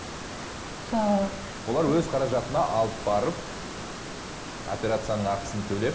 сол олар өз қаражатына алып барып операцияның ақысын төлеп